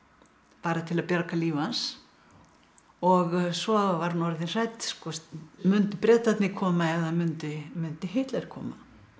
bara til að bjarga lífi hans og svo var hún orðin hrædd mundu Bretarnir koma eða mundi mundi Hitler koma